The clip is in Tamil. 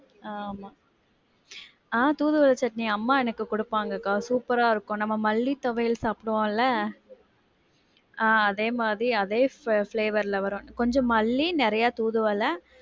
ஆஹ் ஆமா ஆஹ் தூதுவள சட்னி அம்மா எனக்கு குடுப்பாங்க அக்கா. ஆஹ் super ஆ இருக்கும். நம்ம மல்லி துவையல் சாப்பிடுவோம்ல ஆஹ் அதே மாதிரி, அதே flavour ல வரும். கொஞ்சம் மல்லி நிறைய தூதுவள.